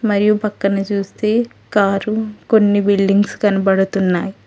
మరియు పక్కనే చూస్తే కారు కొన్ని బిల్డింగ్స్ కనబడుతున్నాయి.